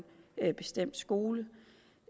skole